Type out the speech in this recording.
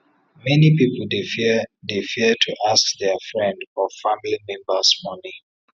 many people dey fear dey fear to ask their friend or family members money